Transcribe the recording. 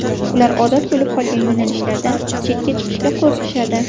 Ular odat bo‘lib qolgan yo‘nalishlardan chetga chiqishga qo‘rqishadi.